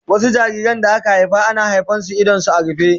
Wasu jariran da aka haifa ana haifa da idanunsu a rufe